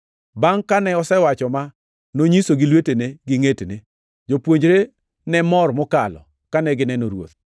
Bangʼ kane osewacho ma, nonyisogi lwetene gi ngʼetne. Jopuonjre ne mor mokalo kane gineno Ruoth.